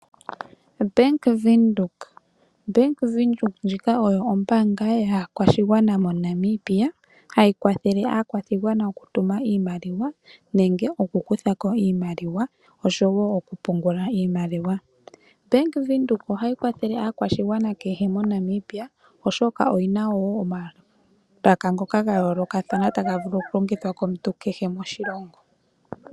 Bank Windhoek Bank Windhoek ndjika oyo ombaanga yaakwashigwana moNamibia, hayi kwathele aakwashigwana okutuma iimaliwa nenge oku kutha ko iimaliwa oshowo okupungula iimaliwa. Bank Windhoek ohayi kwathele aakwashigwana kehe moNamibia oshoka oyina woo omalaka ngoka ga yoolokathana taga vulu okulongitwa komuntu kehe moshilongo.